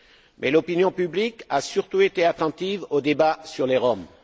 Mais l'opinion publique a surtout été attentive au débat sur les Roms.